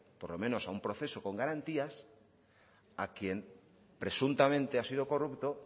por lo menos a un proceso con garantías a quien presuntamente ha sido corrupto